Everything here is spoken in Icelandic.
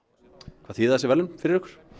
hvað þýða þessi verðlaun fyrir